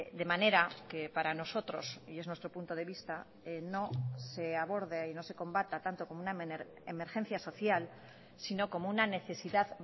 de manera que para nosotros y es nuestro punto de vista no se aborde y no se combata tanto como una emergencia social sino como una necesidad